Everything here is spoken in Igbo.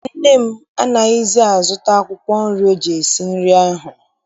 Nne m anaghịzi azụta akwụkwọ nri o ji esi nri n'ahịa.